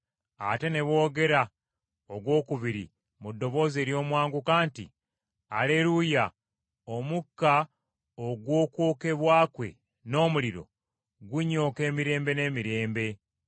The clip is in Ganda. Ate ne boogera ogwokubiri mu ddoboozi ery’omwanguka nti, “Aleruuya! Omukka ogw’okwokebwa kwe n’omuliro, gunyooka emirembe n’emirembe!”